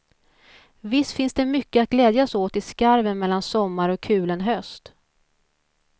Visst finns det mycket att glädjas åt i skarven mellan sommar och kulen höst.